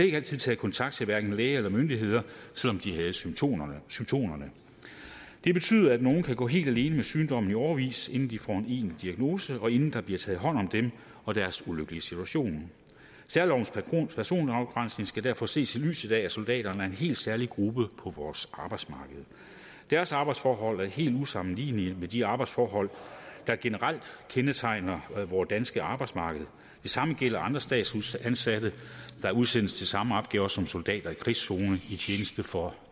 ikke altid taget kontakt til hverken læge eller myndigheder selv om de havde symptomerne symptomerne det betyder at nogle kan gå helt alene med sygdommen i årevis inden de får en egentlig diagnose og inden der bliver taget hånd om dem og deres ulykkelige situation særlovens personafgrænsning skal derfor ses i lyset af at soldaterne er en helt særlig gruppe på vores arbejdsmarked deres arbejdsforhold er helt usammenlignelige med de arbejdsforhold der generelt kendetegner vort danske arbejdsmarked det samme gælder andre statsansatte der udsendes til samme opgaver som soldater i krigszone i tjeneste for